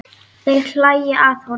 Þeir hlæja að honum.